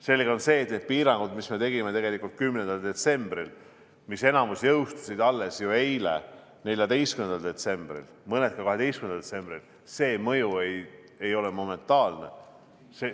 Selge on see, et nende piirangute, mis me tegime 10. detsembril, millest enamik jõustus alles eile, 14. detsembril, mõned ka 12. detsembril, nende mõju ei ole momentaalne.